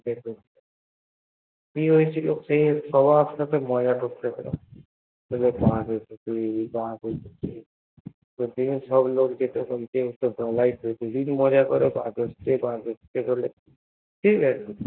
কি হয়েছিল সই স্বভাব ব তার মজা করার ছিল তো সব লোক যেত শুধু মজা করার পর হচ্ছে বলে ঠিকাছে